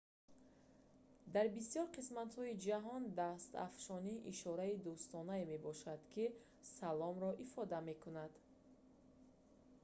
дар бисёр қисматҳои ҷаҳон дастафшонӣ ишораи дӯстонае мебошад ки «салом»-ро ифода мекунад